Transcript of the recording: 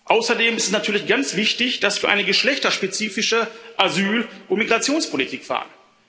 Außerdem ist natürlich ganz wichtig, dass wir eine geschlechterspezifische Asyl und Migrationspolitik fahren.